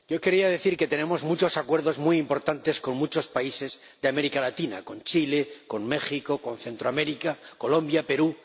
Señora Presidenta, yo quería decir que tenemos muchos acuerdos muy importantes con muchos países de América Latina con Chile, con México, con Centroamérica, Colombia, Perú.